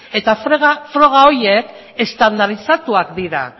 eta froga horiek estandarizatuak dira